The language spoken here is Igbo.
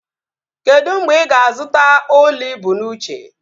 Kedụ mgbe ị ga-azụta ụlọ ibu n'uche?